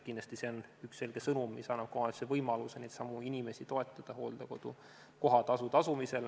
Kindlasti see on üks selge sõnum, mis annab ka omavalitsusele võimaluse neidsamu inimesi toetada hooldekodu kohatasu tasumisel.